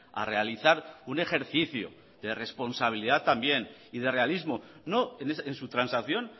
a realizar un ejercicio de responsabilidad también y de realismo no en su transacción